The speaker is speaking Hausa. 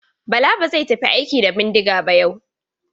Bala ba zai tafi aiki da bindiga ba yau.